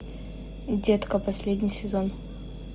детка последний сезон